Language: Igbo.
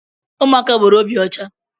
Ụmụaka nwere obi ọcha.